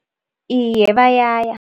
Iye, bayaya.